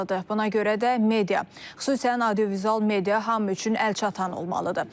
Buna görə də media, xüsusən audiovizual media hamı üçün əlçatan olmalıdır.